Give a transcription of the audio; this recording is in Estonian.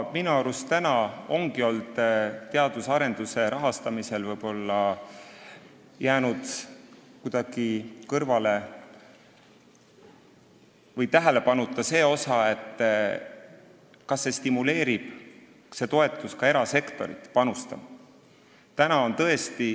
Minu arust ongi teadus- ja arendustegevuse rahastamisel jäänud kuidagi tähelepanuta see, kas see toetus stimuleerib ka erasektorit panustama.